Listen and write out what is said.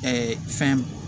fɛn